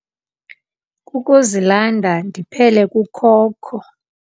Kukuzilanda ndiphele kukhokho.